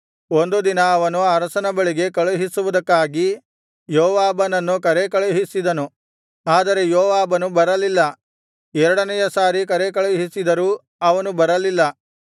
ಒಂದು ದಿನ ಅವನು ಅರಸನ ಬಳಿಗೆ ಕಳುಹಿಸುವುದಕ್ಕಾಗಿ ಯೋವಾಬನನ್ನು ಕರೇಕಳುಹಿಸಿದನು ಆದರೆ ಯೋವಾಬನು ಬರಲಿಲ್ಲ ಎರಡನೆಯ ಸಾರಿ ಕರೇಕಳುಹಿಸಿದರೂ ಅವನು ಬರಲಿಲ್ಲ